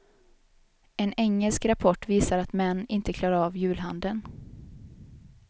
En engelsk rapport visar att män inte klarar av julhandeln.